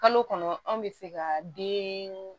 Kalo kɔnɔ anw bɛ se ka den